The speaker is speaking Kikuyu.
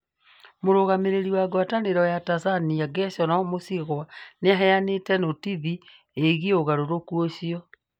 Mũrũgamĩrĩri wa ngwatanĩro ya Tanzania Gerson Msigwa nĩ aheanĩte notithi ĩgiĩ ũgarũrũku ũcio.